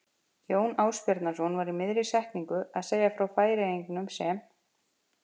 Jón Ásbjarnarson var í miðri setningu að segja frá Færeyingunum sem